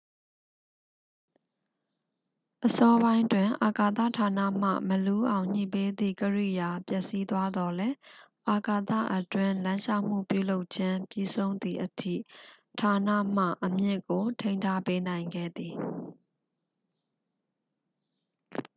အစောပိုင်းတွင် အာကာသ ဌာနမှ မလူးအောင်ညှိပေးသည့် ကိရိယာ ပျက်စီးသွားသောလည်း အာကာသအတွင်းလမ်းလျှောက်မှု ပြုလုပ်ခြင်း ပြီးဆုံးသည်အထိ ဌာနမှ အမြင့်ကို ထိန်းထားပေးနိုင်ခဲ့သည်